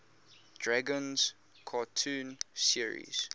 dragons cartoon series